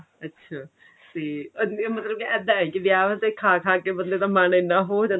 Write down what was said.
ਅੱਛਾ ਤੇ ਮਤਲਬ ਇੱਦਾਂ ਹੈ ਕੀ ਵਿਆਹ ਤੇ ਖਾ ਖਾ ਕੇ ਬੰਦੇ ਦਾ ਮਨ ਇੰਨਾ ਉਹ ਹੋ ਜਾਂਦਾ